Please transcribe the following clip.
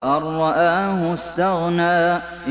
أَن رَّآهُ اسْتَغْنَىٰ